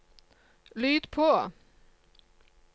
lyd på